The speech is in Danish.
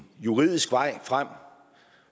juridisk vej frem